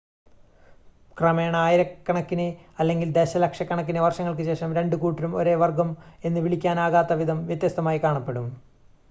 ക്രമേണ ആയിരക്കണക്കിന് അല്ലെങ്കിൽ ദശലക്ഷക്കണക്കിന് വർഷങ്ങൾക്ക് ശേഷം രണ്ട് കൂട്ടങ്ങളും ഒരേ വർഗ്ഗം എന്ന് വിളിക്കാനാകാത്ത വിധം വ്യത്യസ്തമായി കാണപ്പെടും